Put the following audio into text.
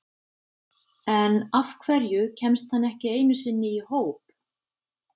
En af hverju kemst hann ekki einu sinni í hóp?